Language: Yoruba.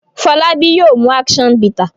Folabi yóò mú action bitter.